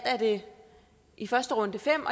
i første runde fem